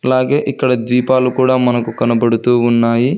అలాగే ఇక్కడ ద్విపాలు కూడా మనకు కనబడుతూ ఉన్నాయి.